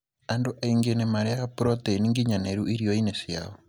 Andũ aingĩ nĩ marĩaga proteini nginyanĩru irioinĩ ciao.